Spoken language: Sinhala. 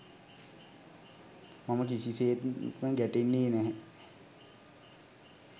මම කිසි සේත්ම ගැටෙන්නේ නැහැ.